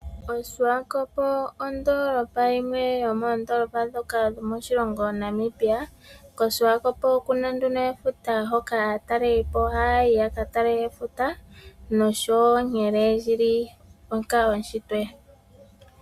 OSwakop ondoolopa yimwe yomoondoolopa ndhoka dhomoshilongo Namibia, koSwakop okuna nduno efuta hoka aatalelipo haya yi ya ka tale efuta osho wo nkene lyili onkaloshitwe.